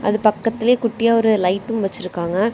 அது பக்கத்திலேயே குட்டியா ஒரு லைட்டும் வச்சிருக்காங்க.